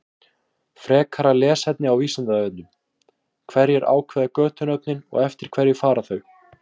Frekara lesefni á Vísindavefnum: Hverjir ákveða götunöfnin og eftir hverju fara þau?